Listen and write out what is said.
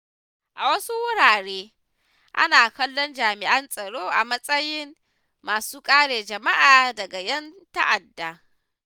A wasu wuraren, ana kallon jami’an tsaro a matsayin masu kare jama’a daga ƴan ta’adda.